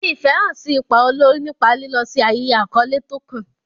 Fi ìfẹ́ hàn sí ipa olórí nípa lílọ sí ayẹyẹ àkọ́lé tó kàn.